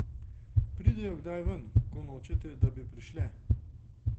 Pridejo kdaj ven, ko nočete, da bi prišle?